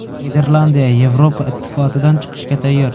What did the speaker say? Niderlandiya Yevropa Ittifotidan chiqishga tayyor.